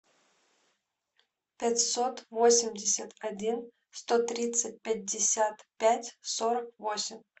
пятьсот восемьдесят один сто тридцать пятьдесят пять сорок восемь